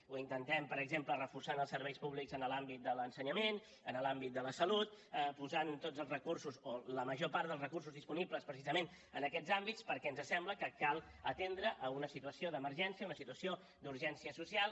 ho intentem per exemple reforçant els serveis públics en l’àmbit de l’ensenyament en l’àmbit de la salut posant tots els recursos o la major part dels recursos disponibles precisament en aquests àmbits perquè ens sembla que cal atendre una situació d’emergència una situació d’urgència social